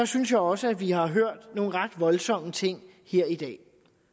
synes jeg også at vi har hørt nogle ret voldsomme ting her i dag